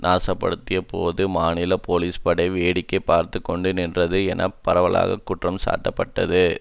நாசப்படுத்திய போது மாநில போலீஸ்படை வேடிக்கை பார்த்து கொண்டு நின்றது என பரவலாக குற்றம் சாட்டப்பட்டது